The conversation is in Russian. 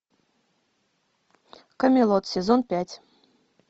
камелот сезон пять